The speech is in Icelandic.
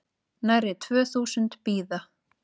Nærri tvö þúsund bíða